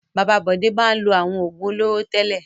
Bàbá Bọ̀dé máa ń lo àwọn òògùn olóró tẹ́lẹ̀.